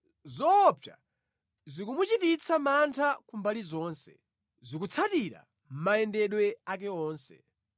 Zoopsa zikumuchititsa mantha kumbali zonse, zikutsatira mayendedwe ake onse.